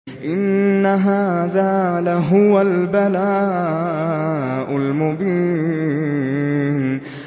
إِنَّ هَٰذَا لَهُوَ الْبَلَاءُ الْمُبِينُ